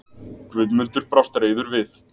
Guðmundur brást reiður við.